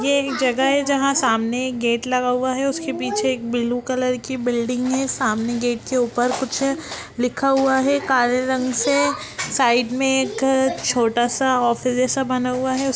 ये एक जगह हैं जहाँसामने एक गेट लगा हुआ हैं उसक पीछे ब्लू कलर की बिल्डिंग हैं सामने गट के ऊपर कुछ हैं लिखा हुआ हैं काले रंग से साइड में एक छोटा सा ऑफिस बना हुआ हैं उस--